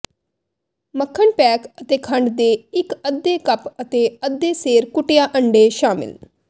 ਮੱਖਣ ਪੈਕ ਅਤੇ ਖੰਡ ਦੇ ਇੱਕ ਅੱਧੇ ਕੱਪ ਅਤੇ ਅੱਧੇ ਸੇਰ ਕੁੱਟਿਆ ਅੰਡੇ ਸ਼ਾਮਿਲ